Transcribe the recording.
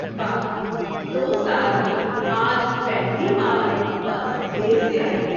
واہ، دو سال میں آج پہلی بار بس دیر سے آئی ہے۔